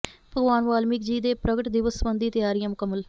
ਭਗਵਾਨ ਵਾਲਮੀਕ ਜੀ ਦੇ ਪ੍ਰਗਟ ਦਿਵਸ ਸਬੰਧੀ ਤਿਆਰੀਆ ਮੁਕੰਮਲ